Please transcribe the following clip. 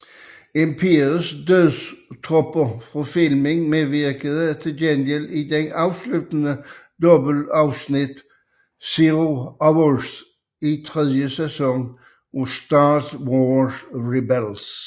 Imperiets dødstropper fra filmen medvirker til gengæld i det afsluttende dobbeltafsnit Zero Hour i tredje sæson af Star Wars Rebels